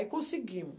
Aí conseguimo.